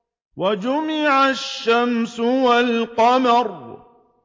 وَجُمِعَ الشَّمْسُ وَالْقَمَرُ